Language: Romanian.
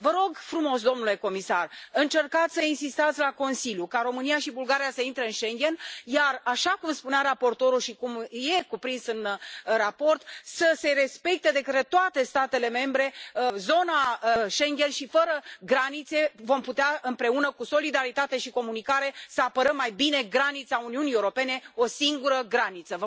Vă rog frumos, domnule comisar, încercați să insistați la Consiliu ca România și Bulgaria se intre în Schengen, iar așa cum spunea raportorul și cum e cuprins în raport, să se respecte de către toate statele membre zona Schengen și, fără granițe, vom putea împreună, cu solidaritate și comunicare, să apărăm mai bine granița Uniunii Europene, o singură graniță.